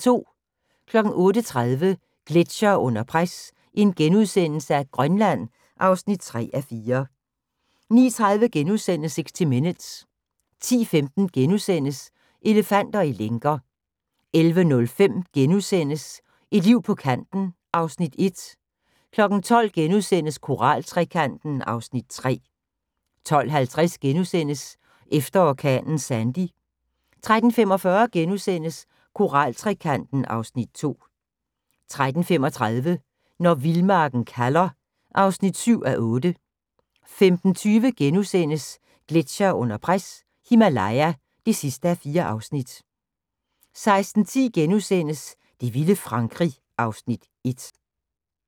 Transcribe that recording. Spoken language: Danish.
08:30: Gletsjere under pres – Grønland (3:4)* 09:30: 60 Minutes * 10:15: Elefanter i lænker * 11:05: Et liv på kanten (Afs. 1)* 12:00: Koral-trekanten (Afs. 3)* 12:50: Efter orkanen Sandy * 13:45: Koraltrekanten (Afs. 2)* 14:35: Når vildmarken kalder (7:8) 15:20: Gletsjere under pres – Himalaya (4:4)* 16:10: Det vilde Frankrig (Afs. 1)*